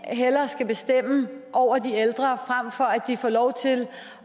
skal bestemme over de ældre frem for at de får lov til